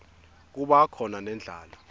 kuba khona nendlala